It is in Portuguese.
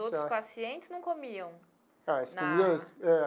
E os outros pacientes não comiam na? Ah eles comiam é.